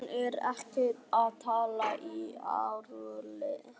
Hún er ekki að tala í alvöru.